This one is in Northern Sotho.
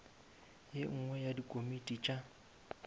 ye nngwe ya dikomiti tša